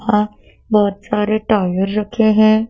और बोहोत सारे टॉवल रखे हैं।